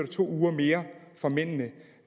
to uger mere fra mændene